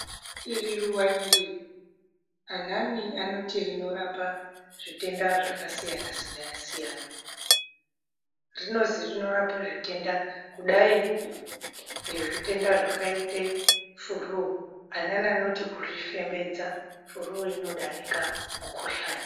Iri ruva iri anani anoti rinorapa zvitenda zvakasiyana siyana rinozi rinorapa zvitenda kudai nezvitenda zvakaite furuu amweni anoti kurifembedza furuu inodarika mukuhlani.